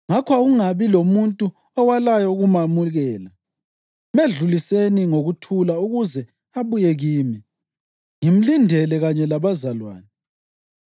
Ngakho akungabi lomuntu owalayo ukumamukela. Medluliseni ngokuthula ukuze abuye kimi. Ngimlindele kanye labazalwane.